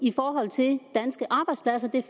i forhold til danske arbejdspladser det